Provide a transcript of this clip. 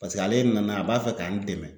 Paseke ale nana a b'a fɛ ka n dɛmɛ.